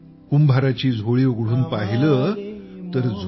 कुंभाराची झोळी उघडून पाहिले तर